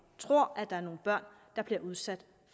tror at der er nogle børn der bliver udsat